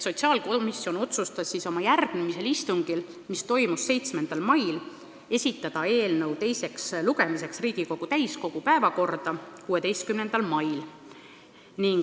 Sotsiaalkomisjon otsustas oma järgmisel istungil, mis toimus 7. mail, esitada eelnõu teisele lugemisele Riigikogu täiskogu päevakorda 16. maiks.